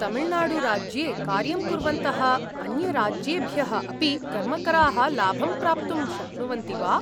तमिल्नाडुराज्ये कार्यं कुर्वन्तः अन्यराज्येभ्यः अपि कर्मकराः लाभं प्राप्तुं शक्नुवन्ति वा?